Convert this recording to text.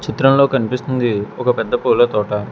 చిత్రంలో కన్పిస్తుంది ఒక పెద్ద పూల తోట.